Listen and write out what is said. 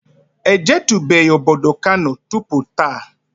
E jetubeghi obodo Kano tupu taa